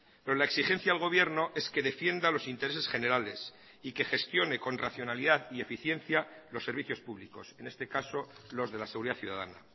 pero la exigencia al gobierno es que defienda los intereses generales y que gestione con racionalidad y eficiencia los servicios públicos en este caso los de la seguridad ciudadana